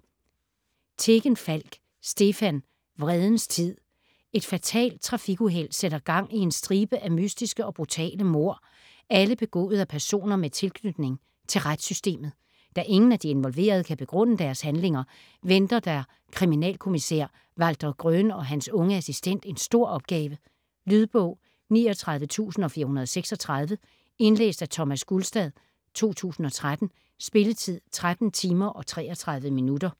Tegenfalk, Stefan: Vredens tid Et fatalt trafikuheld sætter gang i en stribe af mystiske og brutale mord, alle begået af personer med tilknytning til retssystemet. Da ingen af de involverede kan begrunde deres handlinger, venter der kriminalkommissær Walter Gröhn og hans unge assistent en stor opgave. Lydbog 39436 Indlæst af Thomas Gulstad, 2013. Spilletid: 13 timer, 33 minutter.